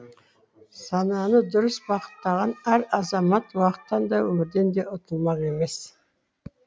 сананы дұрыс бағыттаған әр азамат уақыттан да өмірден де ұтылмақ емес